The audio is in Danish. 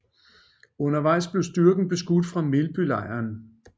Undervejs blev styrken beskudt fra Melbylejren